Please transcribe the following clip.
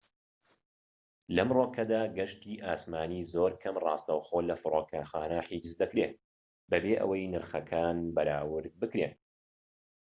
لەمڕۆکەدا گەشتی ئاسمانی زۆر کەم ڕاستەوخۆ لە فرۆکەخانە حیجز دەکرێت بەبێ ئەوەی نرخەکان بەراورد بکرێن